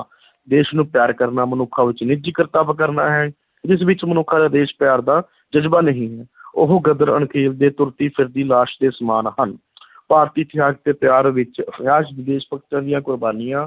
ਦੇਸ਼ ਨੂੰ ਪਿਆਰ ਕਰਨਾ ਮਨੁੱਖਾਂ ਵਿੱਚ ਨਿੱਜੀ ਕਰਤੱਵ ਕਰਨਾ ਹੈ, ਜਿਸ ਵਿੱਚ ਮਨੁੱਖਾਂ ਦਾ ਦੇਸ਼-ਪਿਆਰ ਦਾ ਜਜ਼ਬਾ ਨਹੀਂ ਹੈ ਉਹ ਗਦਰ ਤੁਰਦੀ-ਫਿਰਦੀ ਲਾਸ਼ ਦੇ ਸਮਾਨ ਹਨ ਭਾਰਤੀ ਇਤਿਹਾਸ ਦੇ ਪਿਆਰ ਵਿੱਚ ਇਤਿਹਾਸ ਦੇਸ਼-ਭਗਤਾਂ ਦੀਆਂ ਕੁਰਬਾਨੀਆਂ,